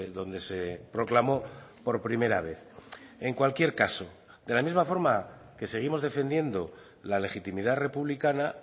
donde se proclamó por primera vez en cualquier caso de la misma forma que seguimos defendiendo la legitimidad republicana